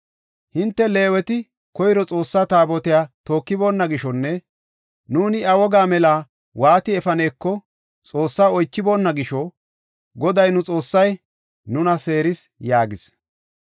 Hinte Leeweti koyro Xoossa Taabotiya tookiboonna gishonne nuuni iya woga mela waati efaneko Xoossaa oychiboona gisho, Goday nu Xoossay nuna seeris” yaagis.